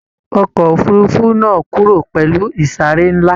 Ọkọ òfurùnfu náà kúrò pẹlú isare nla.